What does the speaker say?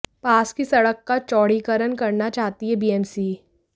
पास की सड़क का चौड़ीकरण करना चाहती है बीएमसी